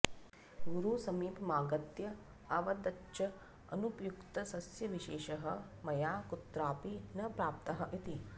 गुरुसमीपमागत्य अवदच्च अनुपयुक्तसस्यविशेषः मया कुत्रापि न प्राप्तः इति